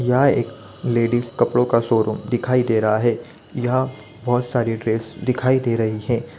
यहाँ एक लेडीज़ कपड़ो का शोरूम दिखाई दे रहा है यहाँ बहुत सारी ड्रेस दिखाई दे रही है ।